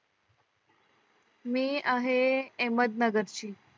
मी आहे अहमदनगर ची